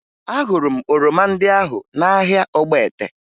Ahụrụ m oroma ndị ahụ n'ahịa Ogbete